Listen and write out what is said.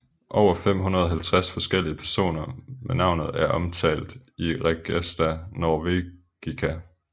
Over 550 forskellige personer med navnet er omtalt i Regesta Norvegica